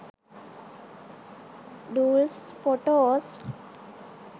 dolls photos